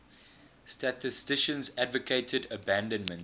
statisticians advocated abandonment